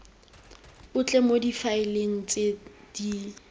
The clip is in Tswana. otlhe mo difaeleng tse di